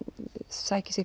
sækir sér